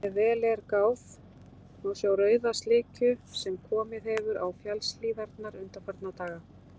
Ef vel er gáð, má sjá rauða slikju sem komið hefur á fjallshlíðarnar undanfarna daga.